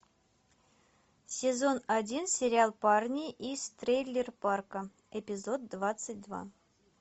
сезон один сериал парни из трейлерпарка эпизод двадцать два